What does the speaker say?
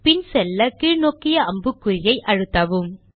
பின் செல்ல கீழ் நோக்கிய அம்புக்குறி விசையை அழுத்தலாம்